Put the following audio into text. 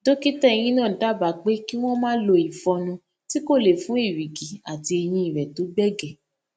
dókítà eyín náà dábàá pé kí wón máa lo ìfọnu tí kò le fún èrìgì àti eyín rẹ tó gbẹgẹ